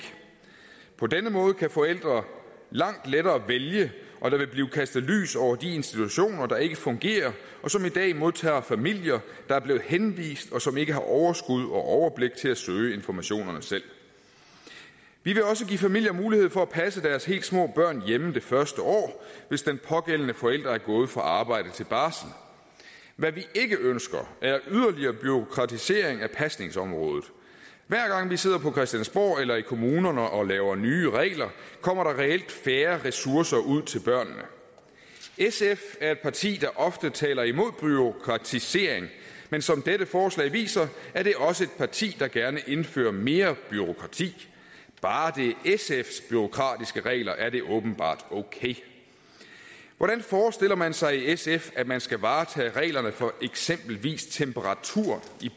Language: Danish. på denne måde kan forældre langt lettere vælge og der vil blive kastet lys over de institutioner der ikke fungerer og som i dag modtager familier der er blevet henvist og som ikke har overskud og overblik til at søge informationerne selv vi vil også give familierne mulighed for at passe deres helt små børn hjemme det første år hvis den pågældende forælder er gået fra arbejde til barsel hvad vi ikke ønsker er yderligere bureaukratisering af pasningsområdet hver gang vi sidder på christiansborg eller i kommunerne og laver nye regler kommer der reelt færre ressourcer ud til børnene sf er et parti der ofte taler imod bureaukratisering men som dette forslag viser er det også et parti der gerne indfører mere bureaukrati bare det er sfs bureaukratiske regler er det åbenbart okay hvordan forestiller man sig i sf at man skal varetage reglerne for eksempelvis temperatur i